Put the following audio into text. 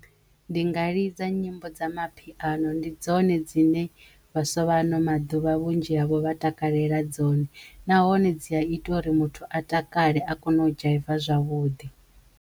Ndi nga lidza nyimbo dza mapiano ndi dzone dzine vhaswa vha ano maḓuvha vhunzhi havho vha takalela dzone nahone dzi a ita uri muthu a takale a kono u dzhaiva zwavhuḓi.